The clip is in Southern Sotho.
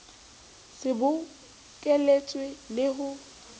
se bo bokeletswe le ho